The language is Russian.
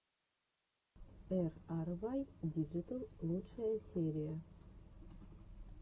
эй ар вай диджитал лучшая серия